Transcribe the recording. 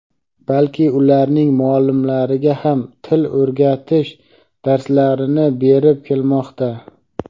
balki ularning muallimlariga ham til o‘rgatish darslarini berib kelmoqda.